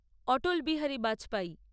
Atal Bihari Vajpayee